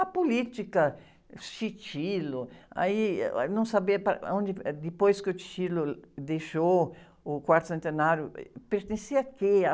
A política, aí, eh, aí não sabia para onde... Depois que o deixou o quarto centenário, pertencia a quê?